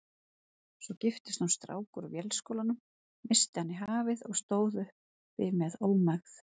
Svo giftist hún strák úr Vélskólanum, missti hann í hafið og stóð uppi með ómegð.